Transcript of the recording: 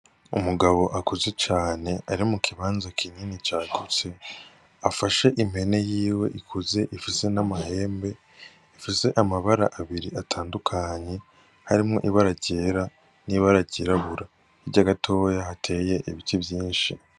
Umugabo akuze cane ari mu kibanza kinini cagutse. Afashe impene yiwe ikuze ifise n'amahembe, ifise amabara abiri atandukanye harimwo ibara ryera n'ibara ryirabura. Hirya gatoya hateye ibiti vyinshi.